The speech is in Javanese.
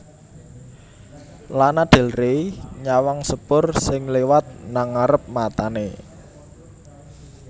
Lana Del Rey nyawang sepur sing liwat nang ngarep matane